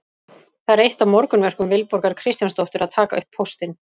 Það er eitt af morgunverkum Vilborgar Kristjánsdóttur að taka upp póstinn.